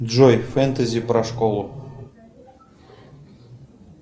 джой фэнтези про школу